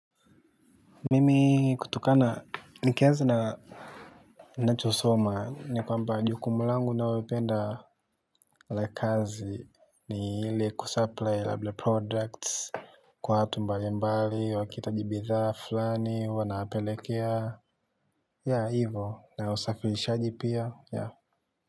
Mimi kutokana nikianza na nachosoma ni kwamba jukumu langu naoupenda. La kazi ni ile kusupply labda products. Kwa watu mbali mbali wakihitaji bithaa fulani huwa nawapelekea ya hivo na usafilishaji pia ya.